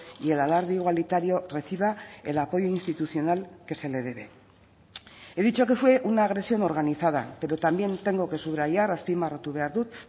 y el alarde igualitario reciba el apoyo institucional que se le debe he dicho que fue una agresión organizada pero también tengo que subrayar azpimarratu behar dut